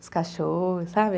Os cachorros, sabe?